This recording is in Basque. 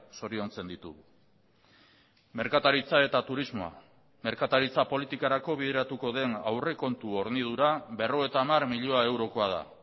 zoriontzen ditugu merkataritza eta turismoa merkataritza politikarako bideratuko den aurrekontu hornidura berrogeita hamar milioi eurokoa da